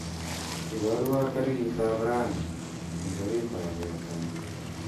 Iborwo tarikab raini eng orit ab botoni